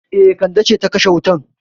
E, Kande ce ta kashe wutan.